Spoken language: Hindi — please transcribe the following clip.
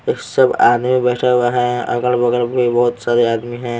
एक सब आदमी बैठा हुआ है अगल बगल भी बहुत सारे आदमी हैं।